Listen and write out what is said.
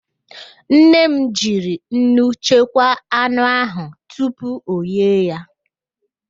Nne m jiri nnu chekwaa anụ ahụ tupu oghee ya